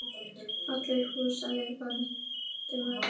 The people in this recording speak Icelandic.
Fallegt hús sagði Valdimar.